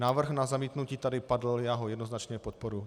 Návrh na zamítnutí tady padl, já ho jednoznačně podporuji.